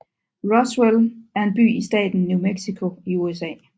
Roswell er en by i staten New Mexico i USA